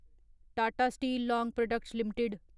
Tata steel long products limited